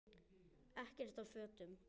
Ekkert af fötum